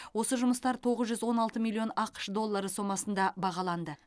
осы жұмыстар тоғыз жүз он алты миллион ақш доллары сомасында бағаланды